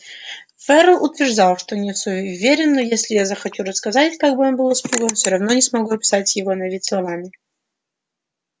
ферл утверждал что не суеверен но если я захочу рассказать как он был испуган всё равно не смогу описать его на вид словами